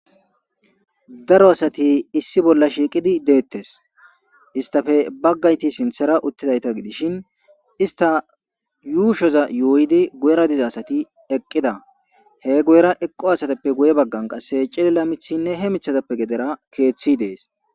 Daro asati issi bolla shiiqidi deettes istafe baggayti sinthera uttidayta gidishin ista yuushoza yooydi guyera diza asati eqqida he guyera eqqo asateppe guye baggan qasse cilila mithinne he mithazappe gedera keeththi dees.